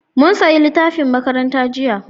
Mun saya littafin makaranta jiya